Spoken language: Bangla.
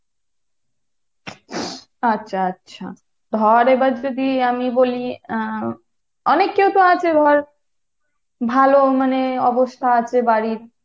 আচ্ছা আচ্ছা ধর এবার যদি আমি বলি আহ অনেকেই তো আছে ধর ভালো মানে অবস্থা আছে বাড়ির